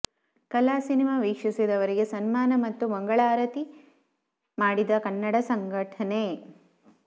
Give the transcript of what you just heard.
ಕಾಲಾ ಸಿನಿಮಾ ವೀಕ್ಷಿಸಿದವರಿಗೆ ಸನ್ಮಾನ ಮತ್ತು ಮಂಗಳಾರತಿ ಮಾಡಿದ ಕನ್ನಡ ಸಂಘಟನೆ